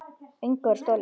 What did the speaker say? Engu var stolið.